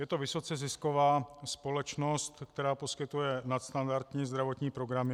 Je to vysoce zisková společnost, která poskytuje nadstandardní zdravotní programy.